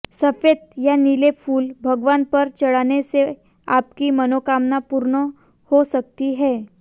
सफेद या नीले फूल भगवान पर चढ़ाने से आपकी मनोकामना पूर्ण हो सकती है